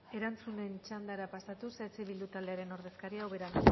erantzunen txandara pasatuz eh bildu taldearen ordezkaria ubera